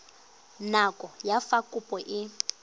nako ya fa kopo e